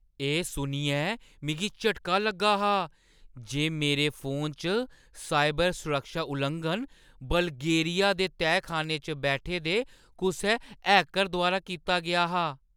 एह् सुनियै मिगी झटका लग्गा हा जे मेरे फोनै च साइबर सुरक्षा लुआंघन बल्गेरिया दे तैह्खाने च बैठे दे कुसै हैकर द्वारा कीता गेआ हा।